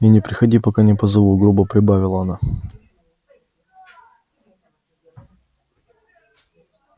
и не приходи пока не позову грубо прибавила она